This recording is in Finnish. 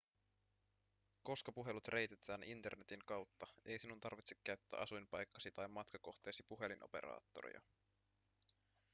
koska puhelut reititetään internetin kautta ei sinun tarvitse käyttää asuinpaikkasi tai matkakohteesi puhelinoperaattoria